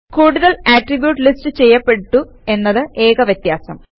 കൂടുതൽ attributes list ചെയ്യപ്പെട്ടു എന്നത് ഏക വ്യത്യാസം